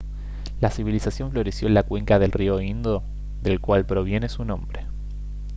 la civilización floreció en la cuenca del río indo del cual proviene su nombre